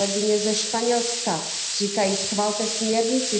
kolegyně ze Španělska říkají Schvalte směrnici.,